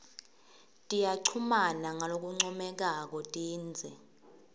tiyachumana ngalokuncomekako tindze